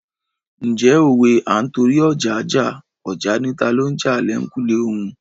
Ǹjẹ́ òwe "À ń torí ọja jà, ọja ni talo ń jà l'ẹ̀kùlé òun "?